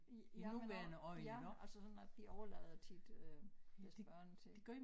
Ja men ja altså sådan at de overlader tit øh deres børn til